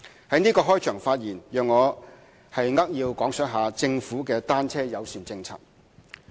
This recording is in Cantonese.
在此開場發言，讓我扼要講述政府的單車友善政策。